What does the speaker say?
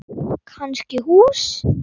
Kannski hús.